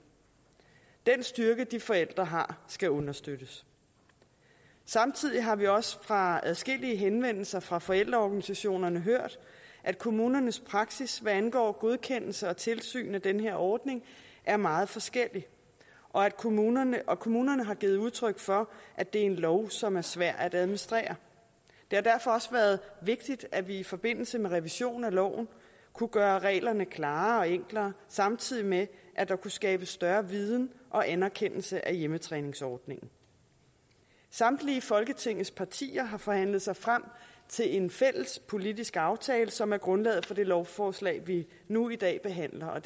den styrke de forældre har skal understøttes samtidig har vi også fra adskillige henvendelser fra forældreorganisationerne hørt at kommunernes praksis hvad angår godkendelser og tilsyn med den her ordning er meget forskellig og kommunerne og kommunerne har givet udtryk for at det er en lov som er svær at administrere det har derfor også været vigtigt at vi i forbindelse med revisionen af loven kunne gøre reglerne klarere og enklere samtidig med at der kunne skabes større viden og anerkendelse af hjemmetræningsordningen samtlige folketingets partier har forhandlet sig frem til en fælles politisk aftale som er grundlaget for det lovforslag vi nu i dag behandler og